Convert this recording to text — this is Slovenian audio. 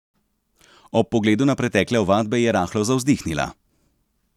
Ob pogledu na pretekle ovadbe je rahlo zavzdihnila.